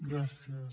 gràcies